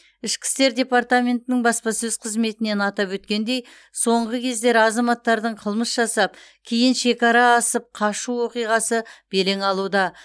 ішкі істер департаментінің баспасөз қызметінен атап өткендей соңғы кездері азаматтардың қылмыс жасап кейін шекара асып қашу оқиғасы белең алуда